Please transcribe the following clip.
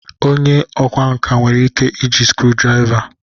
Onye ọkwá nkà nwere ike iji screw driva